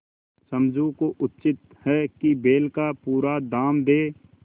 समझू को उचित है कि बैल का पूरा दाम दें